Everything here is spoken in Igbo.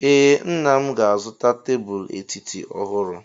Ee, nna m ga-azụta tebụl etiti ọhụrụ.